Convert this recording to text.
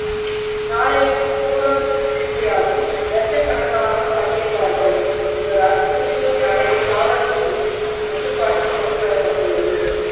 நாளைய பூரம் திருவிழாவில் லட்சக்கணக்கானோர் பங்கேற்பார்கள் என்பதால் திருச்சூர் நகரே காவல்துறையின் கட்டுப்பாட்டில் கொண்டு வரப்பட்டுள்ளது